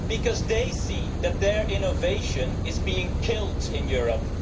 Because they see that their innovation is being killed in Europe.